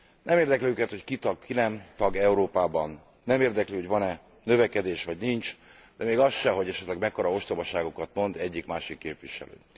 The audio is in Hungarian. Nem érdekli őket, hogy ki tag, ki nem tag Európában, nem érdekli, hogy van e növekedés, vagy nincs, de még az sem, hogy esetleg mekkora ostobaságokat mond egyik másik képviselő.